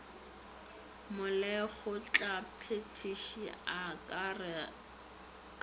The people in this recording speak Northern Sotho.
molekgotlaphethiši a ka re ka